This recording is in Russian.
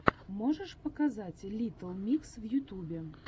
можешь показать литтл микс в ютубе